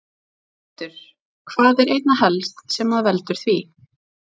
Hjörtur: Hvað er einna helst sem að veldur því?